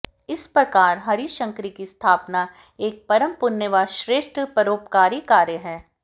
इस प्रकार हरिशंकरी की स्थापना एक परम पुण्य व श्रेष्ठ परोपकारी कार्य है